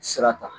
Sira ta